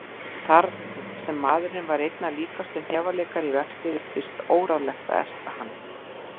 Þar sem maðurinn var einna líkastur hnefaleikara í vexti virtist óráðlegt að erta hann.